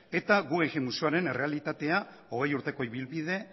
eta guggenheim museoaren errealitatea hogei urteko ibilbide